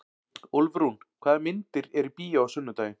Úlfrún, hvaða myndir eru í bíó á sunnudaginn?